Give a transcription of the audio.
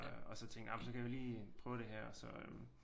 Og så tænkte jeg ah men så kan vi lige prøve det her så øh